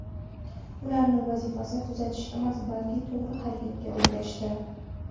Ularni vazifasi tuzatish emas, balki to‘g‘ri harakatga o‘rgatishdir.